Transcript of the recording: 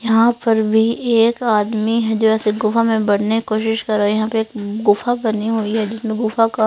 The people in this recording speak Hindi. यहाँ पर भी एक आदमी है जो ऐसी गुफा में बढ़ने की कोशिश कर रहे है यहाँ पे एक गुफा बनी हुई है जिसमें गुफा का--